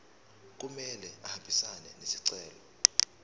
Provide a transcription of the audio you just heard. kumele ahambisane nesicelo